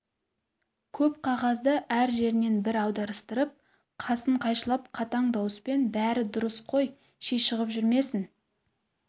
көп қағазды әр жерінен бір аударыстырып қасын қайшылап қатаң дауыспен бәрі дұрыс қой ши шығып жүрмесңн